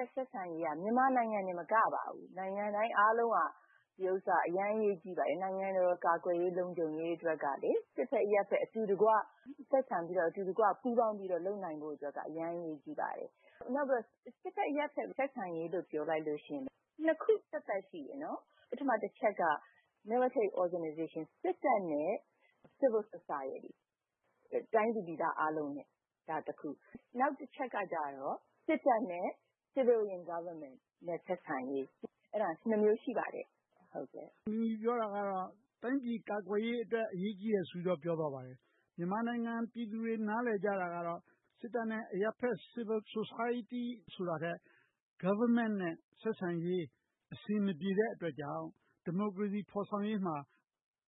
က် ဆက်ဆံရေးက မြန်မာနိုင်ငံတင်မကပါဘူး၊ နိုင်ငံတိုင်းအားလုံးအတွက် အရေးကြီးပါတယ်။ နိုင်ငံတော်ကာကွယ်ရေး၊ လုံခြုံရေးအတွက် စစ်ဘက်-အရပ်ဘက် အတူတကွ ဆက်ဆံပြီး၊ အတူတကွ ပူးပေါင်းပြီး လုပ်နိုင်ဖို့က အရမ်းအရေးကြီးပါတယ်။ နောက်ပြီးတော့ စစ်ဘက်-အရပ်ဘက် ဆက်ဆံရေးလို့ ပြောလိုက်ရင် နှစ်ခုသက်သက် ရှိတယ်။ ပထမတချက်က - စစ်တပ်နဲ့ Civil Society တိုင်းသူပြည်သားအားလုံးနဲ့ကတစ်ခု။ နောက်တချက်က စစ်တပ်နဲ့ Civilian Government ဆက်ဆံရေး ဆိုပြီး နှစ်မျိုးရှိပါတယ်။ မေး ။ ။ တိုင်းပြည်ကာကွယ်ရေးအတွက် အရေးကြီးတယ်ဆိုပြီး ပြောသွားပါတယ်။ မြန်မာနိုင်ငံ ပြည်သူတွေ နားလည်ကြတာကတော့ စစ်တပ်နဲ့ Civil Society ဆိုတာထက် Government အစိုးရနဲ့ ဆက်ဆံရေး အဆင်မပြေတဲ့အတွက်ကြောင့် ဒီမိုကရေစီ ဖော်ဆောင်ရေးမှာ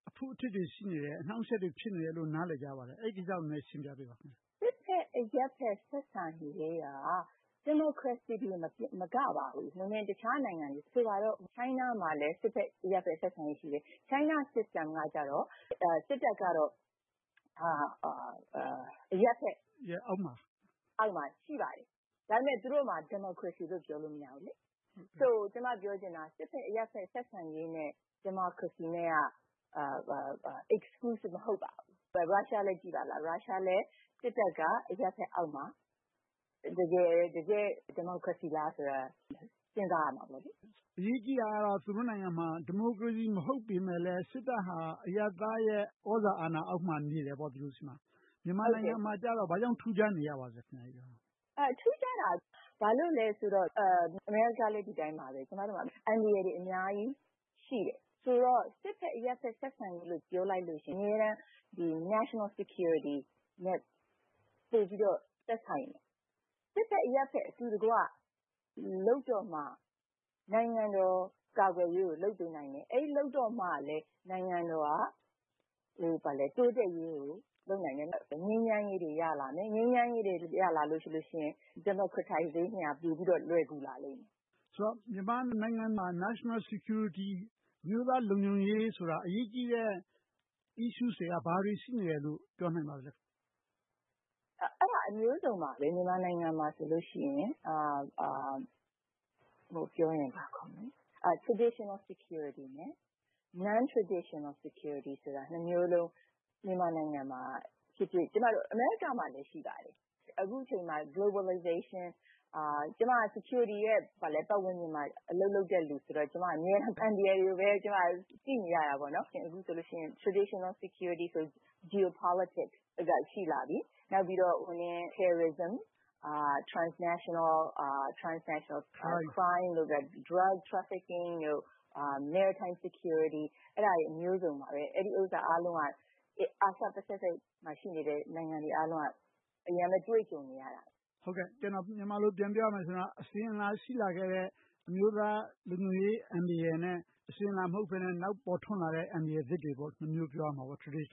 အဖုအထစ်တွေ ရှိနေတယ်။ အနှောင့်အယှက်တွေ ဖြစ်နေတယ်လို့ နားလည်ကြပါတယ်။ အဲဒီကိစ္စကို နည်းနည်းရှင်းပြပေးပါ။ ဖြေ ။ ။ စစ်တပ်-အရပ်ဘက် ဆက်ဆံရေးက ဒီမိုကရေစီတင်မကပါဘူး တခြားနိုင်ငံတွေ - ဆိုပါတော့ တရုတ်နိုင်ငံမှာလည်း စစ်တပ်-အရပ်ဘက် ဆက်ဆံရေး ရှိတယ်။ တရုတ်စနစ်ကတော့ စစ်တပ်ကတော့ အရပ်ဘက်အောက်မှာ ရှိပါတယ်။ ဒါပေမဲ့ သူတို့မှာ ဒီမိုကရေစီလို့ ပြောလို့မရဘူး။ ကျမပြောချင်တာက စစ်တပ်-အရပ်ဘက် ဆက်ဆံရေးနဲ့ ဒီမိုကရေစီနဲ့ Exclusive မဟုတ်ပါဘူး။ ရုရှားလည်း စစ်တပ်က အရပ်ဘက်အောက်မှာ - တကယ့် ဒီမိုကရေစီလားဆိုတာ စဉ်းစားရပါလိမ့်မယ်။ မေး ။ ။ အရေးကြီးတာကတော့ သူတို့နိုင်ငံမှာ ဒီမိုကရေစီ မဟုတ်ပေမယ့်လဲ စစ်တပ်ဟာ အရပ်သားရဲ့ သြဇာအာဏာအောက်မှာ နေကြတယ်။ မြန်မာနိုင်ငံမှာတော့ ဘာကြောင့်ထူးခြားနေရပါလဲ။ ဖြေ ။ ။ ထူးခြားတာ ဘာလို့လဲဆိုတော့ အမေရိကလည်း ဒီအတိုင်းပါပဲ။ ကျမတို့မှာ အန္တရာယ်တွေ အများကြီးရှိတယ်။ ဆိုတော့ စစ်တပ်-အရပ်ဘက် ဆက်ဆံရေးလို့ ပြောလိုက်လို့ရှိရင် အမြဲတမ်း နိုင်ငံတော်လုံခြုံရေး နဲ့ ပိုပြီးတော့ သက်ဆိုင်တယ်။ စစ်တပ်-အရပ်ဘက် အတူတကွ လုပ်တော့မှ နိုင်ငံတော် ကာကွယ်ရေးကို လုပ်ပေးနိုင်တယ်။ အဲဒီလို လုပ်တော့မှလဲ နိုင်ငံတော်က တိုးတက်ရေးကို လုပ်နိုင်တယ်။ ငြိမ်းချမ်းရေးတွေ ရလာမယ်။ ငြိမ်းချမ်းရေးတွေ ရလာလို့ရှိရင် Democratization က ပိုပြီးတော့ လွယ်ကူလာလိမ့်မယ်။ မေး ။ ။ ဆိုတော့ မြန်မာနိုင်ငံမှာ National Security အမျိုးသားလုံခြုံရေးဆိုတာ အရေးကြီးတဲ့ အကြောင်းအရာတွေက ဘာတွေရှိနေတယ်လို့ ပြောနိုင်ပါလဲ။ ဖြေ ။ ။ အဲဒါကတော့ အမျိုးစုံပါပဲ - မြန်မာနိုင်ငံမှာဆိုရင် Traditional Security နဲ့ Non-traditional Secuirty နှစ်မျိုးစလုံး မြန်မာနိုင်ငံမှာ ရှိတယ်။ ကျမတို့ အမေရိကမှာ ရှိပါတယ်။ အခုအချိန်မှာ Globalization - ကျမက Security ပတ်ဝန်းကျင်မှာ အလုပ်လုပ်တဲ့လူဆိုတော့ ကျမက အမြဲတမ်း အန္တရာယ်တွေပဲ ကြည့်နေရတယ်။ အခုဆိုရင် Traditional Security ဆိုရင် Geopolitics ရှိလာပြီ။ နောက်ပြီးတော့ terrorism transnational crimes – drug trafficking, maritime security တို့ အဲဒါတွေအားလုံးက အာရှ၊ ပစ္စိဖိတ်မှာ ရှိနေတဲ့ နိုင်ငံတွေအားလုံးက အများုးကြီးတွေ့ကြုံနေရတယ်။ မေး ။ ။ မြန်မာလို ပြန်ပြောရမယ်ဆိုရင်တော့ အစဉ်အလာရှိလာခဲ့တဲ့ အမျိုးသားလုံခြုံရေး အန္တရာယ်နဲ့ အစဉ်အလာမဟုတ်ဘဲနဲ့ နောက်ပေါ်ထွန်းလာတဲ့ အန္တရာယ်သစ်တွေဆိုပြီး နှစ်မျိုး ပြောနိုင်တယ်။ အစဉ်အ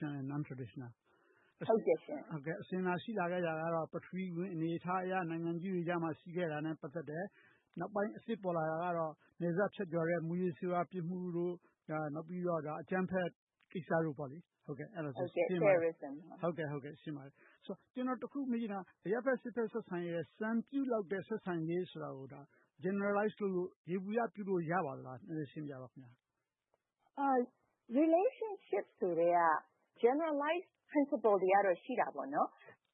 လာရှိလာခဲ့တာကတော့ ပထဝီ နိုင်ငံရေး အနေအထားအရ နိုင်ငံကြီးတွေကြားမှာ ရှိခဲ့တာနဲ့ ပတ်သက်တယ်။ နောက်ပိုင်းအသစ်ပေါ်လာတာကတော့ နယ်စပ်ဖြတ်ကျော်လာတဲ့ မူးယစ်ဆေးဝါးပြစ်မှုတွေ၊ အကြမ်းဖက်ကိစ္စတို့ဆိုရင် ရှင်းမှာပါ။ ဒါနဲ့ ကျနော် တစ်ခုမေးချင်တာက အရပ်ဘက်- စစ်ဘက် ဆက်ဆံရေးမှာ စံပြုလောက်တဲ့ ဆက်ဆံရေးဆိုတာကို ယေဘုယျပြုလို့ ရပါသလား။ နည်းနည်းရှင်းပြပါ။ ဖြေ ။ ။ Relationship ဆက်ဆံရေး ဆိုကတည်းက Generalized principles တွေကတော့ ရှိတာပေါ့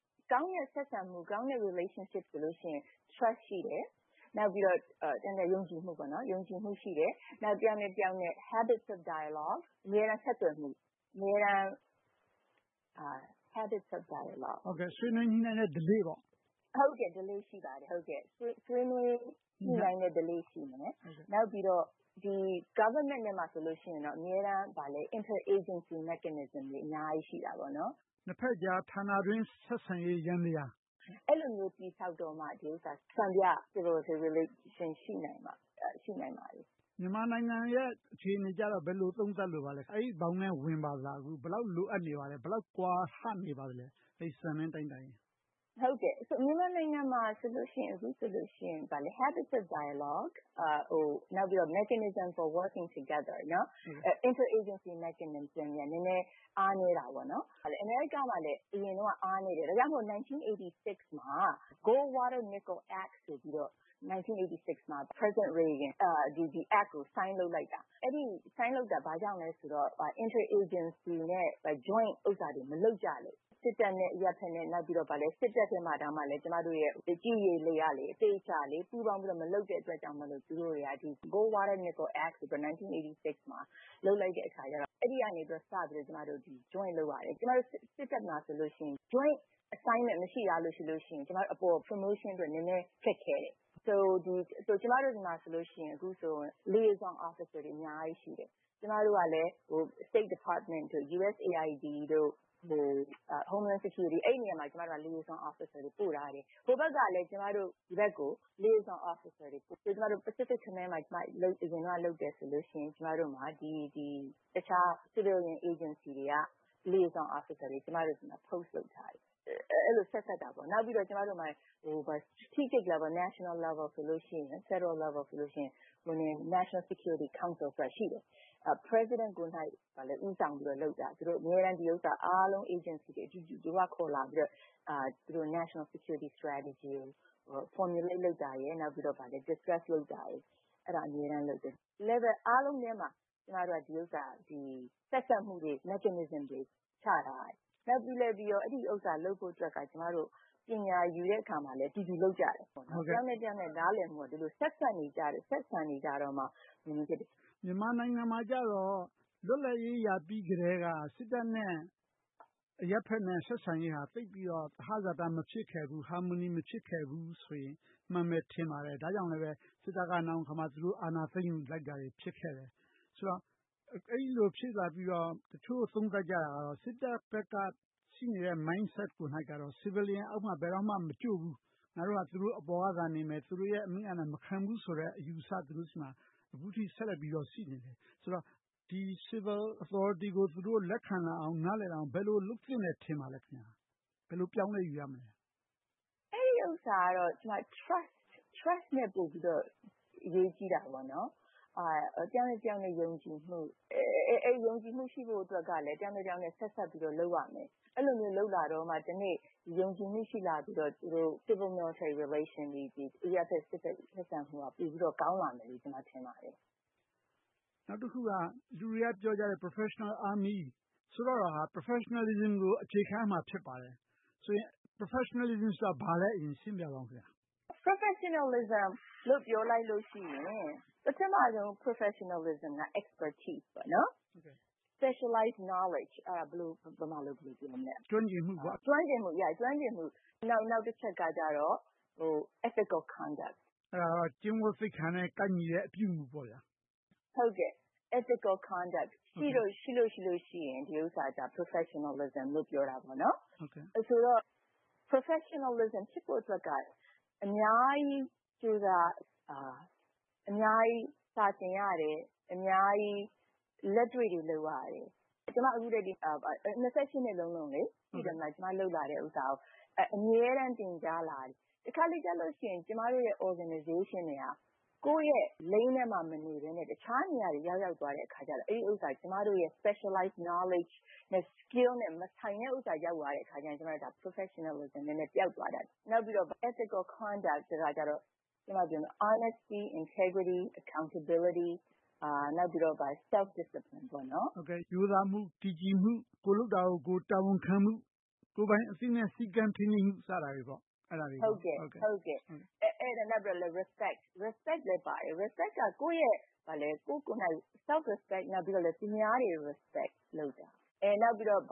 ။ ကောင်းတဲ့ဆက်ဆံမှု၊ ကောင်းတဲ့ relation ဆိုရင် trust ယုံကြည်မှု ရှိတယ်။ တယောက်နဲ့တယောက် Habit of Dialogue အမြဲတမ်းဆက်သွယ်မှု၊ အမြဲတမ်းဆွေးနွေးညှိနှိုင်းတဲ့ဓလေ့တို့ ရှိပါတယ်။ နောက် ပြီးတော့ အစိုးရထဲမှာ အမြဲတမ်း intra-agency mechanism - နှစ်ဘက်ကြားဌာနအတွင်း ဆက်ဆံရေးယန္တရားမျိုးတွေ တည်ဆောက်တော့မှ စံပြ အရပ်ဘက်-စစ်ဘက် ဆက်ဆံရေး ရှိလာနိုင်မှာပါ။ မေး ။ ။ မြန်မာနိုင်ငံရဲ့ အခြေအနေကြတော့ ဘယ်လိုသုံးသပ်လိုပါလဲ။ အဲဒီဘောင်အတွင်း ဝင်ပါသလား။ ဘယ်လောက်လိုအပ်နေပါလဲ။ ဘယ်လောက် ကွာဟနေပါလဲ။ အဲဒီ စံချိန်စံနှုန်းနဲ့ တိုင်းတာတယ်ဆိုရင်။ ဖြေ ။ ။ မြန်မာနိုင်ငံမှာဆိုရင် အခုဆိုရင် အမြဲတမ်းဆွေးနွေး ညှိနှိုင်းတဲ့ဓလေ့နဲ့ နှစ်ဘက်ကြားဌာန အတွင်း ဆက်ဆံရေးတွေ နည်းနည်းအားနည်းနေသေးတယ်။ အမေရိကမှာလည်း အရင်တုန်းက အားနည်းတယ်။ ဒါကြောင့် ၁၉၈၆ မှာ Goldwater- Nichols Act ဆိုပြီး သမ္မတရေဂင် က လက်မှတ် ရေးထိုးခဲ့တယ်။ လက်မှတ်ရေးထိုးခဲ့တာ ဘာကြောင့်လဲဆိုတော့ Inter-agency နဲ့ Joint ပူးပေါင်းမှု တွေ မလုပ်ကြလို့။ စစ်တပ်နဲ့ အရပ်ဘက်နဲ့။ နောက်ပြီးေးတာ့ စစ်တပ်ထဲမှာတောင် ကြည်း၊ ရေ၊ လေ က သေချာပူးပေါင်းပြီး မလုပ်တဲ့အတွက်ကြောင့်မို့ သူတို့တွေက Goldwater- Nichols Act လုပ်လိုက်တဲ့အခါကျတော့ အဲဒီကနေ စပြီးတော့ ပူးပေါင်းကြတယ်။ ကျမတို့ စစ်တပ်မှာဆိုရင် Joint-assignments မရှိတာထားလို့ရှိရင် ရာထူးတိုးဖို့အတွက် နည်းနည်းခက်ခဲတယ်။ ကျမတို့ဆီမှာ အခုဆိုရင် ဆက်ဆံရေးအရာရှိ တွေ အများကြီးရှိတယ်။ ကျမတို့ကလည်း State Department နိုင်ငံခြားရေးဝန်ကြီးရုံး၊ USAID တို့၊ Homeland Security တို့ဆီ liaison officer တွေ ပို့ထားတယ်။ ဟိုဘက်ကလည်း ကျမတို့ဆီကို liaison officer တွေ ပို့ထားတယ်။ ကျမတို့ Pacific Command မှာ အရင်တုန်းက လုပ်တယ်ဆိုလို့ရှိရင် ကျမတို့မှာ တခြား အရပ်ဘက်အဖွဲ့အစည်း တွေက liaison officer တွေ ကျမတို့ဆီမှာ ထားရှိထားတယ်။ အဲဒီလို ဆက်စပ်ကြတယ်။ နောက်ပြီးတော့မှ National Level or Federal Level ဆိုရင် National Security Council ဆိုတာ ရှိတယ်။ သမ္မတကိုယ်တိုင် ဦးဆောင်ပြီးတော့လုပ်တာ။ အမြဲတမ်း Agencies တွေအားလုံး အတူတကွ ခေါ်လာပြီးတော့ National Security Strategy ကို Formulate လုပ်တာရယ်၊ ဆွေးနွေးတာတွေ အမြဲတမ်းလုပ်ကြတယ်။ Level ကျမတို့က ဆက်စပ်မှုတွေ ချထားကြတယ်။ ပြီးနောက် အဲဒီဥစ္စာ လုပ်ဖို့အတွက်က ကျမတို့ ပညာယူတဲ့အခါမှာလည်း အတူတူလုပ်ကြတယ်။ တယောက်နဲ့တယောက် နားလည်မှုက ဆက်စပ်နေကြတယ်။ ဆက်ဆံနေကြတော့မှ ဖြစ်မယ်။ မေး ။ ။ မြန်မာနိုင်ငံမှာကြတော့ လွတ်လပ်ရေး ရပြီးကတည်းက စစ်တပ်နဲ့ အရပ်ဘက် ဆက်ဆံရေး အမြင်ဟာ သိပ်ပြီးတော့ သဟဇာတ မဖြစ်ခဲ့ဘူး။ Harmony မဖြစ်ခဲ့ဘူးဆိုရင် မှန်မယ်ထင်ပါတယ်။ ဒါကြောင့်လဲ စစ်တပ်က နောင်အခါမှာ သူတို့အာဏာသိမ်းယူလိုက်တာတွေ ဖြစ်ခဲ့တယ်။ ဆိုတော့ အဲဒီလို ဖြစ်လာပြီးတော့ တချို့သုံးသပ်ကြတာကတော့ စစ်တပ်ဘက်က ရှိနေတဲ့ Mindset ကတော့ Civilian အောက်မှာ ဘယ်တော့မှ မကြို့ဘူး။ ငါတို့ဟာ သူတို့အပေါ်ကသာနေမယ်။ သူတို့ရဲ့ အမိန့် အာဏာ မခံဘူးဆိုတဲ့ အယူအဆ သူတို့ဆီမှာ အခုထက်ထိ ဆက်လက်ပြီးတော့ ရှိနေတယ်။ ဆိုတော့ ဒီ Civil Authority ကို သူတို့လက်ခံလာအောင်၊ နားလည်နိုင်အောင် ဘယ်လိုလုပ်သင့်တယ် ထင်ပါလဲ။ ဘယ်လို ပြောင်းလဲယူရမလဲ။ ဖြေ ။ ။ အဲဒီဥစ္စာကတော့ Trust ထက် ပိုအရေးကြီးတယ်။ တယောက်နဲ့တယောက် ယုံကြည်မှု၊ အဲဒီယုံကြည်မှု ရှိဖို့ကလဲ တယောက်နဲ့တယောက် ဆက်စပ်ပြီးတော့ လုပ်ရမယ်။ အဲဒီလိုလုပ်လာပြီးမှ တနေ့ ယုံကြည်မှုရှိလာပြီး၊ Civil-Military Relation အရပ်ဘက်-စစ်ဘက် ဆက်ဆံမှုတွေ ပိုပြီးတော့ကောင်းလာမယ်လို့ ကျမထင်ပါတယ်။ မေး ။ ။ နောက်တခုက လူတွေကပြောကြတယ်။ Professional Army ဆိုတာက Professionalism ကို အခြေခံရမှာ ဖြစ်ပါတယ်။ ဆိုရင် Professionalism ဆိုတာ ဘာလဲ ရှင်းပြပါ။ ဖြေ ။ ။ Professionalism လို့ ပြောလိုက်လို့ရှိရင် ပထမဦးဆုံး Professionalism က Expertise – Specialized knowledge ကျွမ်းကျင်မှု။ နောက်တချက်က Ethical Conduct ကျင့်ဝတ်သိက္ခာနဲ့ ကိုက်ညီသော အပြုအမှုတို့ ရှိလို့ရှိရင် အဲဒါကို Professionalism လို့ ပြောကြတယ်။ ဆိုတော့ Professionalism ဖြစ်ဖို့အတွက်က အများကြီးကြိုးစားရတယ်။ အများကြီး စာသင်ရတယ်။ အများကြီး လက်တွေ့တွေ လုပ်ရတယ်။ ကျမ နှစ်လုံးလုံး လုပ်လာတဲ့ဟာကို အမြဲတမ်းသင်ကြားနေရတယ်။ တခါတလေကျရင် ကျမတို့ အဖွဲ့အစည်း Organization တွေက ကိုယ့်ရဲ့လမ်းကြောင်းထဲမှာ မနေဘဲနဲ့ တခြားနေရာတွေကို ရောက်သွားတဲ့အခါ ကျမတို့ရဲ့ Specialized Knowledge, Skills နဲ့ မဆိုင်တဲ့ အရာ ရောက်သွားတဲ့အခါ ကျမတို့ရဲ့ Professionalism ပျောက်သွားတတ်တယ်။ နောက်ပြီးတော့ Ethical Conduct ကြတော့ honesty integrity accountability and self disciplinary - ရိုးသားမှု၊ တည်ကြည်မှု၊ ကိုယ်လုပ်တာကို ကိုယ်တာဝန်ခံမှု၊ ကိုယ်ပိုင်အသိနဲ့ စည်းကမ်းထိန်းသိမ်းလိုက်နာမှု စတာတွေ ဖြစ်တယ်။ နောက်ပြီးတော့ Respect others and Self-respect သူတပါးနဲ့ မိမိကိုယ်ကိုယ် လေးစားမှုတို့ ဖြစ်တယ်။ ပြီးတော့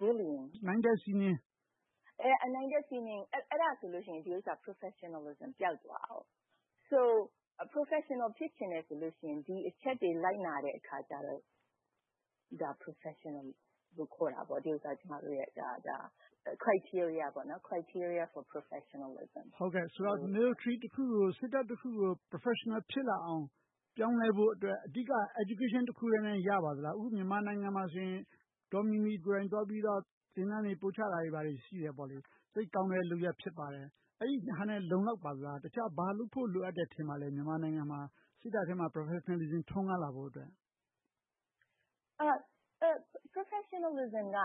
Bullying - နိုင်ထက်စီးနှင်းရှိရင် Professionalism ပျောက်ပျက်သွား တယ်။ ဒါကြောင့် Professional ဖြစ်ချင်တယ်ဆိုရင် ဒီအချက်ကို လိုက်နာတဲ့အခါ အဲဒါကို Professional လို့ခေါ်တယ်။ ကျမတို့ရဲ့ Criteria for professionalism ဖြစ်တယ်။ မေး ။ ။ ဆိုတော့ စစ်တပ်တခုကို Professional ဖြစ်လာအောင် ပြောင်းလဲဖို့အတွက် အဓိက ပညာရေး တခုတည်းနဲ့ ရနိုင်ပါသလား။ အခု မြန်မာနိုင်ငံမှာဆိုရင် ဒေါ်မီမီကိုယ်တိုင်သွားပြီးတော့ သင်တန်းတွေ ပို့ချတာတွေ ရှိတယ်။ သိပ်ကောင်းတဲ့ လုပ်ရပ်ဖြစ်ပါတယ်။ အဲဒါနဲ့ လုံလောက်ပါသလား။ တခြား ဘာလုပ်ဖို့ ထင်ပါသလဲ။ မြန်မာနိုင်ငံ စစ်တပ်ထဲမှာ Professionalism ထွန်းကားလာဖို့အတွက်။ ဖြေ ။ ။ Professionalism က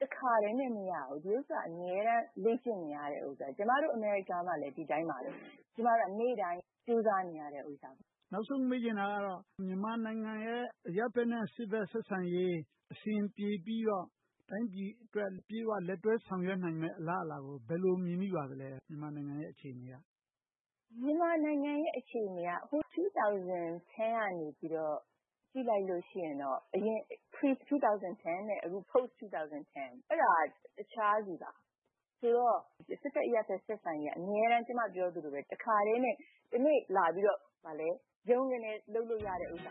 တစ်ခါတည်းနဲ့ မရဘူး။ ဒီဥစ္စာက အမြဲတမ်း လေ့ကျင့်နေရတယ်။ ကျမတို့ အမေရိကမှာလည်း ဒီအတိုင်းပါပဲ။ နေ့တိုင်းကြိုးစားနေရတယ်။ မေး ။ ။ နောက်ဆုံးမေးချင်တာက မြန်မာနိုင်ငံရဲ့ အရပ်ဘက်နဲ့ စစ်ဘက် ဆက်ဆံရေး အဆင်ပြေပြီး တော့ တိုင်းပြည်အတွက် အပြည့်အဝ လက်တွဲဆောင်ရွက်နိုင်မယ့် အလားအလာကို ဘယ်လိုမြင် မိပါသလဲ။ မြန်မာနိုင်ငံရဲ့ အခြေအနေက။ ဖြေ ။ ။ မြန်မာနိုင်ငံရဲ့ အခြေအနေက ၂၀၁၀ ကနေ ကြည့်လိုက်လို့ရှိရင် အရင် ၂၀၁၀ နဲ့ ၂၀၁၀ နောက်ပိုင်းကာလတို့က တခြားစီပါ။ ဆိုတော့ စစ်ဘက်-အရပ်ဘက် ဆက်ဆံရေးက အမြဲတမ်း တခါတည်းနဲ့ တနေ့လာပြီးတော့ ဗြုန်းကနဲ လုပ်လို့ရတဲ့ကိစ္စ